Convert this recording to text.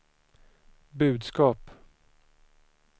budskap